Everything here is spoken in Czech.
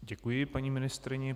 Děkuji paní ministryni.